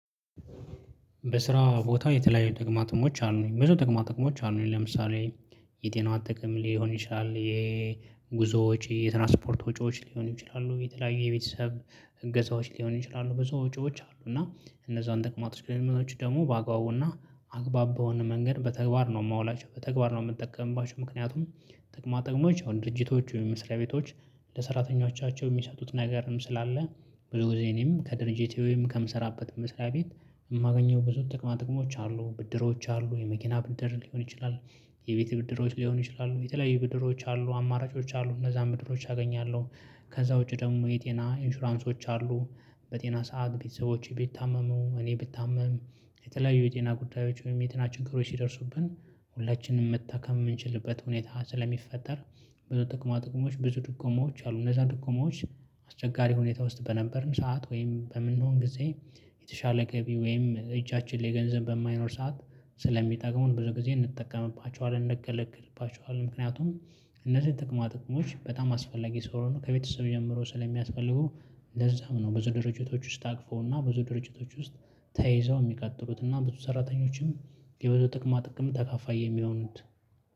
በስራ ቦታ የተለያዩ ጥቅማ ጥቅሞች አሉኝ ብዙ ጥቅማ ጥቅሞች አሉኝ ለምሳሌ የጤናዋ ጥቅም ሊሆን ይችላል የጉዞዎች ወጪ የትራንስፖርት ወጪዎች ሊሆን ይችላሉ የተለያዩ የቤተሰብ እገዛዎች ሊሆን ይችላሉ ብዙ ወጪዎች አሉ እና እነዛን ጥቅማ ጥቅሞች ደግሞ በአግባቡና አግባብ በሆነ መንገድ በተግባር ነው የማውላቸው በተግባር ነው የምጠቀምባቸው። ምክንያቱም ጥቅማ ጥቅሞች ድርጅቶች ወይም መስራያ ቤቶች ለሰራተኞቻቸው የሚሰጡት ነገርም ስላለ ብዙ ጊዜ እኔም ከድርጅቴ ወይም ከምሰራበት መስሪያ ቤት የማገኘው ብዙ ጥቅማ ጥቅሞች አሉ። ብድሮች አሉ የመኪና ብድር ሊሆን ይችላል የቤቴ ብድሮች ሊሆኑ ይችላሉ የተለያዩ ብድሮች አሉ አማራጮች አሉ እነዛን ብድሮች አገኛለሁ። ከዛ ውጪ ደግሞ የጤና ኢንሹራንሶች አሉ። በጤና ሰዓት ቤተሰቦቼ ቢታመሙ እኔ ብታመም የተለያዩ የጤና ጉዳዮች ወይም የጤና ችግሮች ሲደርሱብን ሁላችንም መታከም የምንችልበት ሁኔታ ስለሚፈጠር። ብዙ ጥቅማ ጥቅሞች ብዙ ድጎማዎች አሉ። እነዛ ድጎማዎች አስቸጋሪ ሁኔታ ውስጥ በነበርን ሰዓት ወይም በምንሆን ጊዜ የተሻለ ገቢ ወይም እጃችን ላይ ገንዘብ በማይኖር ሰዓት ስለሚጠቅሙን ብዙ ጊዜ እንጠቀምባቸዋለን እንገለገልባቸዋለን። ምክንያቱም እነዚህን ጥቅማ ጥቅሞች በጣም አስፈላጊ ስለሆኑ ከቤተሰብ ጀምሮ ስለሚያስፈልጉ። ለዛም ነው ብዙ ድርጅቶች ውስጥ ታቅፈውና ብዙ ድርጅቶች ውስጥ ተይዘው የሚቀጥሉት እና ብዙ ሰራተኞችም የብዙ ጥቅማ ጥቅም ተካፋይ የሚሆኑት።